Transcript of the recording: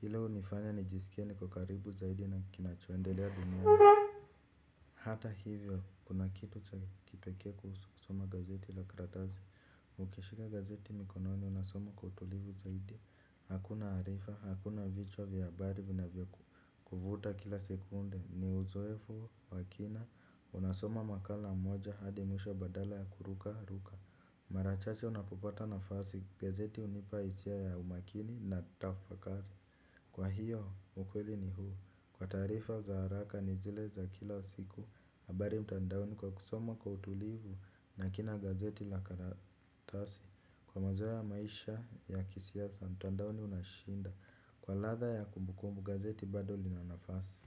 Hilo hunifanya nijisikie niko karibu zaidi na kinachoendelea duniani. Hata hivyo, kuna kitu cha kipekee kuhusu kusoma gazeti la karatasi. Ukishika gazeti mkononi unasoma kwa utulivu zaidi. Hakuna harifa, hakuna vichwa vyahabari vinavyo kuvuta kila sekunde, ni uzoefu wakina. Unasoma makala moja hadi mwisho badala ya kuruka, ruka. Mara chache unapopata nafasi gazeti hunipa hisia ya umakini na tafakari. Kwa hiyo, ukweli ni huu. Kwa taarifa za haraka ni zile za kila siku habari mtandaoni kwa kusoma kwa utulivu na kila gazeti la karatasi kwa mazoea ya maisha ya kisiasa mtandaoni unashinda. Kwa ladha ya kumbukumbu gazeti bado linanafasi.